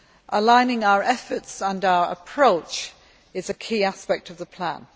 Aligning our efforts and our approach is a key aspect of the plan.